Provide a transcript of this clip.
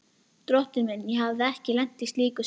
Drottinn minn, ég hafði ekki lent í slíku síðan.